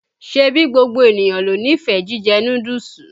Ṣẹ̀bí gbogbo enìyàn ló nífẹ̀ẹ́ jíjẹ́ núdúùsù?